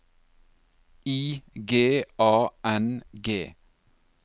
I G A N G